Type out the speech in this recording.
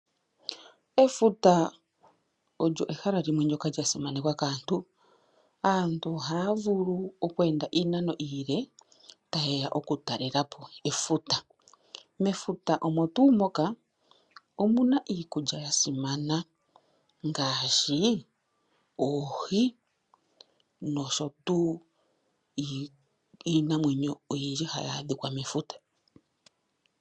Efuta olyo ehala limwe ndyoka lyasimanekwa kaantu, aantu ohaya vulu okweenda iinano iile ta yeya ku talelapo efuta. Mefuta omo tuu moka omuna iikulya yasimana ngaashi oohi nosho tuu iinamwenyo oyindji hayi adhika mefuta.